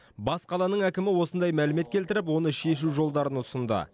бас қаланың әкімі осындай мәлімет келтіріп оны шешу жолдарын ұсынды